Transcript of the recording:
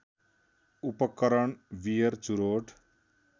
उपकरण बियर चुरोट